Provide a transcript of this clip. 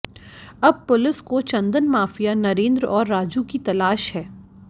अब पुलिस को चंदन माफिया नरेंद्र और राजू की तलाश है